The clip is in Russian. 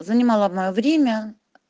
занимала моё время